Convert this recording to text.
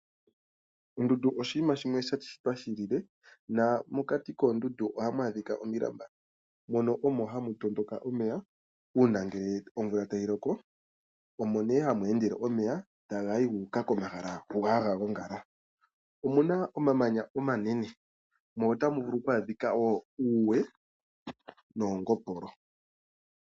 Ondundu oshinima shimwe sha shitwa shi ilile nomokati koondundu ohamu adhika omilamba. Mono omo ha mu tondoka omeya uuna ngele omvula tayi loko, omo nee ha mu endele omeya taga yi gu uka komahala ngoka haga gongala. Omuna omamanya omanene, mo ota mu vulu wo oku adhiwa uuwe noongopolo.